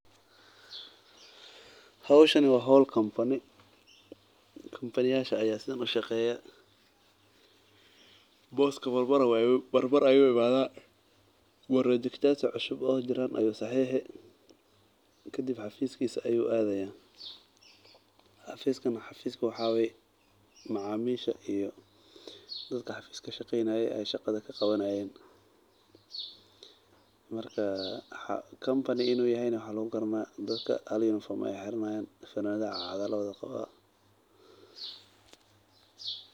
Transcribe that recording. Howshani wa howl kampany, kampaniyasha aya sidhan u shaqeeya. Booska mar mar ayuu imadha, projectyasha kadib xafiiskisa ayu adhaya, xafiiskan waxa wayee macaamisha iyo dadhka xafiiska ka shaqeynaye ay shaqadha kaqawanayeen, marka kampani in u yahay na waxa lagugarani dadhka hal yunifom ayay xiranayan, funanadha cad cad aa lawadha qawa.